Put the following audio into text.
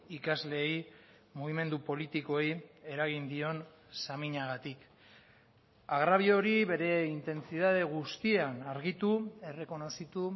ikasleei mugimendu politikoei eragin dion saminagatik agrabio hori bere intentsitate guztian argitu errekonozitu